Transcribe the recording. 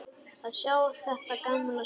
Að sjá þetta gamla svín.